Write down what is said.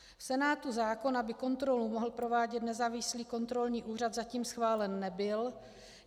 V Senátu zákon, aby kontrolu mohl provádět nezávislý kontrolní úřad, zatím schválen nebyl.